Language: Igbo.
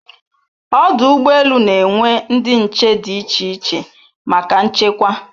Ọdụ ụgbọ elu na enwe ndị nche di iche iche maka nchekwa